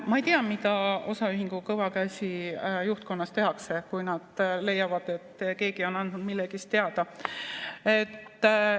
Ma ei tea, mida osaühingu Kõva Käsi juhtkonnas tehakse, kui nad leiavad, et keegi on andnud millestki teada.